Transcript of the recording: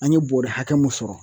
An ye bɔrɛ hakɛ mun sɔrɔ.